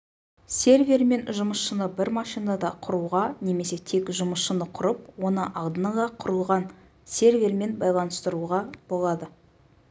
сервер мен жұмысшыны бір машинада құруға немесе тек жұмысшыны құрып оны алдын ала құрылған сервермен байланыстыруға болады